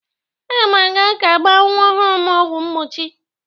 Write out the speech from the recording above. Aga m aga ka agba nwa ọhụrụ m ọgwụ mgbochi.